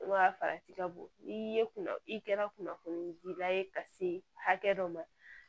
farati ka bon n'i ye kunna i kɛra kunnafoni dila ye ka se hakɛ dɔ ma